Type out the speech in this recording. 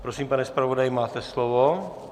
Prosím, pane zpravodaji, máte slovo.